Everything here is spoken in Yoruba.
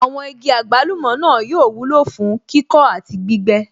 Àwọn igi àgbálùmọ̀ náà yóò wúlò fún kíkọ́ àti gbígbẹ́